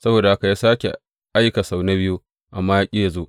Saboda haka ya sāke aika sau na biyu, amma ya ƙi yă zo.